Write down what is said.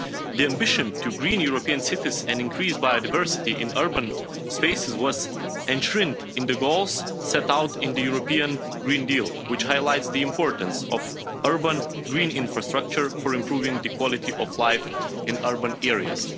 The ambition to green European cities and increase biodiversity in urban spaces was enshrined in the goals set out in the European Green Deal, which highlights the importance of urban green infrastructure for improving the quality of life in urban areas.